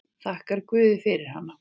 Þakkar guði fyrir hana.